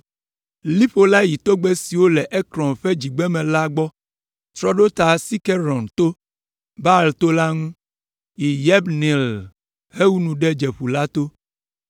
Liƒo la yi togbɛ siwo le Ekron ƒe dzigbeme la gbɔ, trɔ ɖo ta Sikeron to, Baala to la ŋu, yi Yabneel hewu nu ɖe Domeƒu la to.